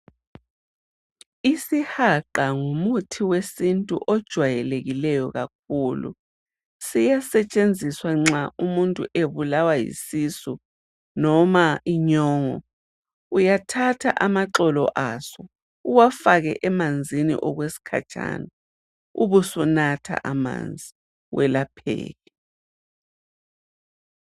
Isihaqa ngumuthi wesintu ojwayelekileyo kakhulu. Siyasetshenziswa nxa umuntu ebulawa yisisu loba yinyongo. Uyathatha amaxolo aso, ufake emanzini, ubusunatha, ukuze welapheke.